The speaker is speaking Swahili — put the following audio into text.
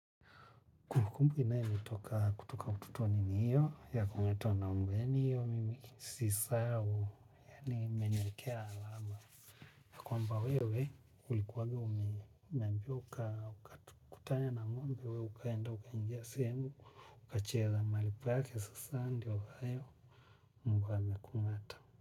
Kumbukumbu inayonitoka kutoka utotoni ni hiyo ya kuitwa na umbeni hiyo mimi sisahau yani imeniwekea alama. Kwamba wewe ulikuwanga ume. Mbio ukakutana na ngombe wewe ukaenda ukaingia sehemu. Ukacheza mahali pake sasa ndio hayo mbwa ameku'ngata.